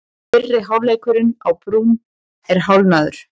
Fyrri hálfleikurinn á Brúnn er hálfnaður